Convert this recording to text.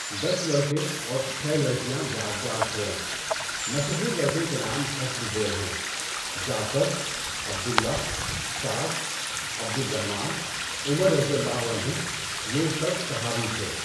دس لڑکے اور چھ لڑکیاں یاد گار چھوڑیں۔ مشہور لڑکوں کے نام حسب ذیل ہیں: Jafar, Abdullah, Saad, Abdur Rahman, Umar رضی اللہ عنھُم۔ یہ سب صحابی تھے۔